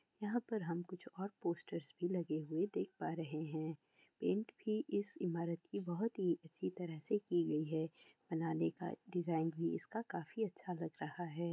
यहाँ पर हम कुछ और पोस्टर्स भी लगी हुई देख पा रहे है| पेंट भी इस इमारत की बोहत अच्छी तरह से की गई है| बनियाइन का डिज़ाइन भी इसका काफी अच्छा लग रहा है।